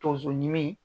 Tonso ɲimi